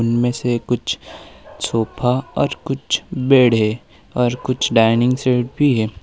इनमें से कुछ सोफा और कुछ बेड है और कुछ डाइनिंग सेट भी है।